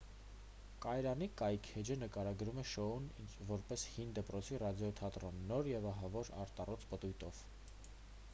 կայարանի կայքէջը նկարագրում է շոուն որպես հին դպրոցի ռադիոթատրոն նոր և ահավոր արտառոց պտույտով